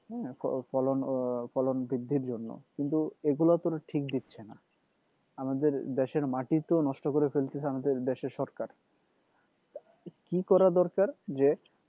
হ্যাঁ ফলন ফলন বৃদ্ধির জন্য কিন্তু এগুলো তো ওরা ঠিক দিচ্ছেনা আমাদের দেশের মাটি তো নষ্ট করে ফেলতেছে আমাদের দেশের সরকার কি করা দরকার যে